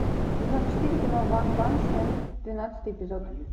сезон четыре кино ванпанчмен двенадцатый эпизод